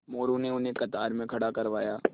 मोरू ने उन्हें कतार में खड़ा करवाया